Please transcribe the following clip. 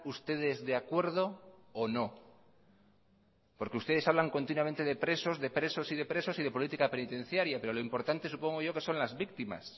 ustedes de acuerdo o no porque ustedes hablan continuamente de presos de presos y de presos y de política penitenciaria pero lo importante supongo yo que son las víctimas